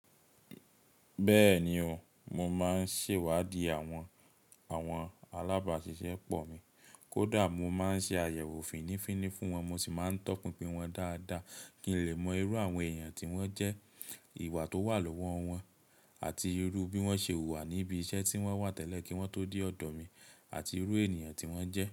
Bẹ́ẹ̀ni o, mo máa ń ṣèwádìí àwọn, alábàáṣiṣẹ́ pọ̀ mi. Kódà mo máa ń ṣe àyẹ̀wò fínnífínní fún wọn, mo sì máa ń tọpinpin wọn dáadáa kí n lè mọ irú àwọn èèyàn tí wọ́n jẹ́, ìwà tó wà lọ́wọ́ wọn àti irú bí wọ́n ṣe hùwà níbi iṣẹ́ tí wọ́n wà tẹ́lẹ̀ kí wọ́n tó dé ọ̀dọ̀ mi àti irú ènìyàn tí wọ́n jẹ́